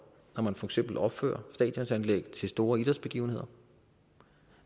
når man for eksempel opfører stadionanlæg til store idrætsbegivenheder